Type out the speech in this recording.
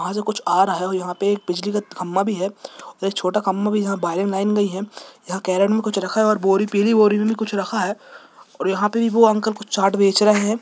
वह से कुछ आ रहा है और यहाँ पे एक बिजली खम्बा भी है और एक छोटा खम्बा भी जहा गयी है यहाँ कैरियर में कुछ रखा है और बोरी पिली बोरी में भी कुछ रखा है और यहाँ पे भी वो अंकल कुछ चाट बेच रहे है।